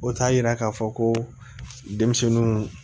O t'a yira k'a fɔ ko denmisɛnninw